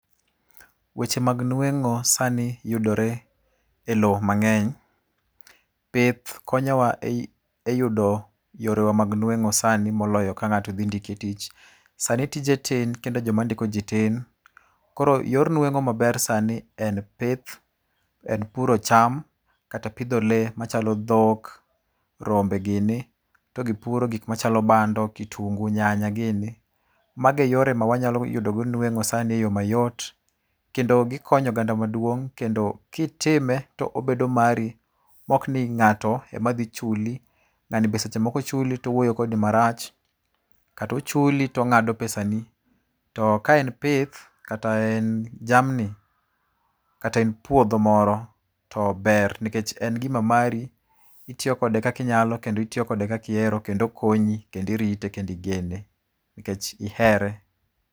Weche mag nwengó sani yudore e lowo mangény. Pith konyowa e e yudo yorewa mag nwengó sani moloyo ka ngáto dhi ndiki tich. Sani tije tin, kendo joma ndikoji tin. Koro yor nwengó maber sani en pith. En puro cham, kata pidho lee machalo dhok, rombe gini. To gi puro gik machalo bando, kitunguu, nyanya gini. Mago e yore ma wanyalo yudogo nwengó sani e yo mayot. Kendo gikonyo oganda maduong'. Kendo kitime to obedo mari, ma ok ni ngáto ema dhi chuli. Ngáni be seche moko chuli to owuoyo kodi marach, Kata ochuli to ongádo pesani. To ka en pith, kata en jamni, kata en puodho moro to ber, nikech en gima mari. Itiyo kode kakinyalo, kendo itiyo kode kakihero, kendo okonyi, kendo irite, kendo igene, nikech ihere.